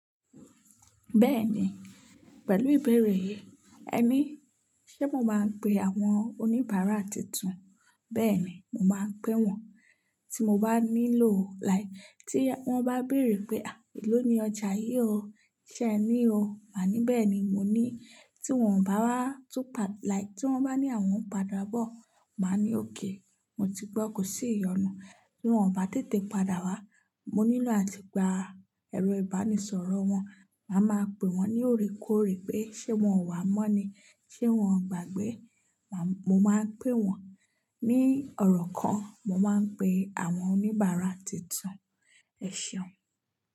Bẹ́ẹ̀ni, pẹ̀lú ìbẹ̀rẹ̀ yìí, ẹ ní ṣé mo máa ń pe àwọn oníbàárà tuntun? Bẹ́ẹ̀ni, mo máa ń pé wọ́n tí mo bá nílò, lai tí wọ́n bá béèrè pé, à eló ni ọjà yìí o, ṣé ẹ ní o? Màá ní, bẹ́ẹ̀ni mo ní. Tí wọ́n bá wá tún pa, like tí wọ́n bá ní àwọn padà bọ̀, màá ní òkay, mo ti gbọ́ kò sí ìyọnu. Tí wọ́n bá tètè padà wá, mo nílò àti gba ẹ̀rọ ìbánisọ̀rọ̀ wọn, màá máa pe wọ́n ní òrékóòrè pé ṣé wọn ò wá mọ́ ni? Ṣe wọn o gbàgbé? Màá, mo máa ń pe wọ́n ní ọ̀rọ̀ kan, mo máa ń pe àwọn oníbàárà tuntun. Ẹ ṣeun.